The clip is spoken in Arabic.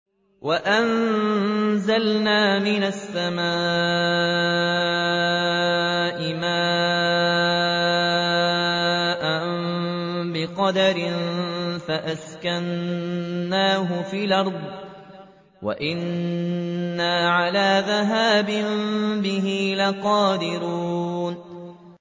وَأَنزَلْنَا مِنَ السَّمَاءِ مَاءً بِقَدَرٍ فَأَسْكَنَّاهُ فِي الْأَرْضِ ۖ وَإِنَّا عَلَىٰ ذَهَابٍ بِهِ لَقَادِرُونَ